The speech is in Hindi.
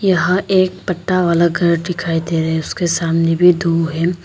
यहां एक पत्ता वाला घर दिखाई दे रहे हैं उसके सामने भी दो है।